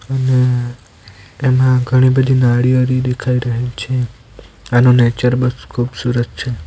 અને એમાં ઘણી બધી નારિયેળી દેખાઈ રહી છે આનો નેચર બસ ખૂબસૂરત છે.